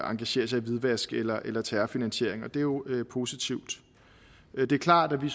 engagere sig i hvidvask eller eller terrorfinansiering og det er jo positivt det er klart at vi